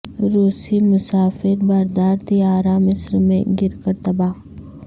روسی مسافر بردار طیارہ مصر میں گر کر تباہ